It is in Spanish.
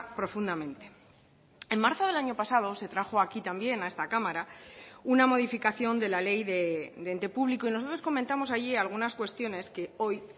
profundamente en marzo del año pasado se trajo aquí también a esta cámara una modificación de la ley de ente público y nosotros comentamos allí algunas cuestiones que hoy